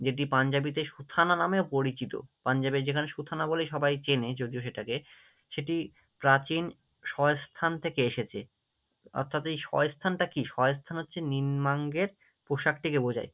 যেটি পাঞ্জাবিতে সুথানা নামেও পরিচিত, পাঞ্জবের যেখানে সুথানা বলেই সবাই চেনে যদিও সেটাকে, সেটি প্রাচীন স্বস্থান থেকে এসেছে, অর্থাৎ এই স্বস্থানটা কি? স্বস্থান হচ্ছে নিম্নাঙ্গের পোশাকটিকে বোঝায়।